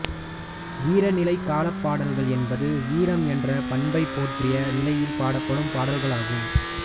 வீரநிலைக் காலப்பாடல்கள் என்பது வீரம் என்ற பண்பைப் போற்றிய நிலையில் பாடப்படும் பாடல்களாகும்